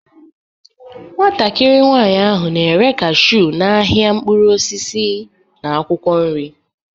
Nwatakịrị nwanyị ahụ na-ere cashew n'ahịa mkpụrụ osisi na akwụkwọ nri